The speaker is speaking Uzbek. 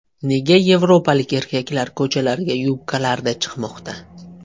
Nega yevropalik erkaklar ko‘chalarga yubkalarda chiqmoqda?.